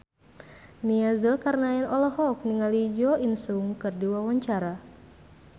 Nia Zulkarnaen olohok ningali Jo In Sung keur diwawancara